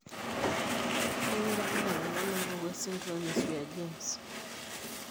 Kainyio irbulabul onaapuku esindirom eSwyer James?